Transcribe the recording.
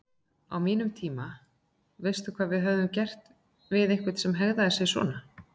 Á mínum tíma, veistu hvað við hefðum gert við einhvern sem hegðaði sér svona?